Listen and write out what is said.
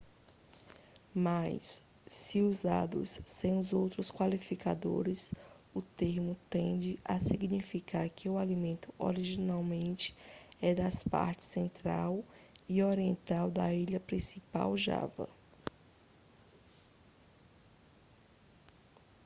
mas se usados sem outros qualificadores o termo tende a significar que o alimento originalmente é das partes central e oriental da ilha principal java